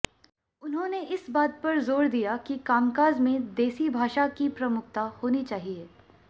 उन्होंने इस बात पर जोर दिया कि कामकाज में देसी भाषा की प्रमुखता होनी चाहिए